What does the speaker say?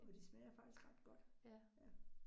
Og de smager faktisk ret godt, ja